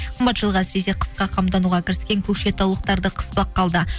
қымбат жылға әсіресе қысқа қамтануға кіріскен көкшетаулықтарды қыспаққа алды